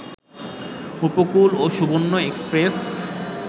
উপকূল ও সুবর্ণ এক্সপ্রেস